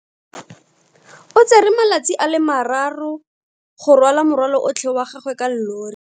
O tsere malatsi a le marraro go rwala morwalo otlhe wa gagwe ka llori.